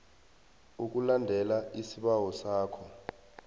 ukulandela isibawo sakho